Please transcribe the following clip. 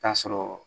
Taa sɔrɔ